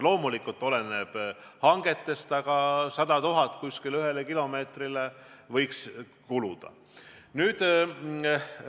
Loomulikult oleneb kõik hangetest, aga ühele kilomeetrile võiks kuluda umbes 100 000 eurot.